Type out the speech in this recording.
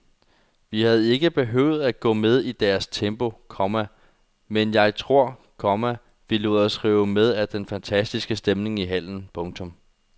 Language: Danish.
Vi havde ikke behøvet at gå med i deres tempo, komma men jeg tror, komma vi lod os rive med af den fantastiske stemning i hallen. punktum